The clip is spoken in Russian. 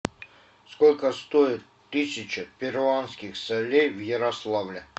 сколько стоит тысяча перуанских солей в ярославле